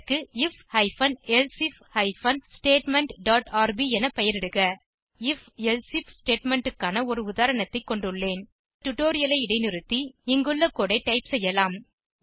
அதற்கு if hyphen elsif hyphen statement dot rb என பெயரிடுக நான் if எல்சிஃப் ஸ்டேட்மெண்ட் க்கான ஒரு உதாரணத்தை கொண்டுள்ளேன் நீங்கள் டியூட்டோரியல் ஐ இடைநிறுத்தி இங்குள்ள கோடு ஐ டைப் செய்யலாம்